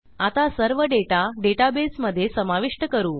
आता सर्व डेटा डेटाबेसमधे समाविष्ट करू